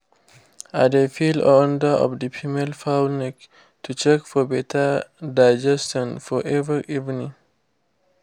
i dey feel under of the female fowl neck to check for better digestion for every evening.